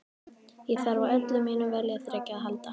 Ég þarf á öllu mínu viljaþreki að halda.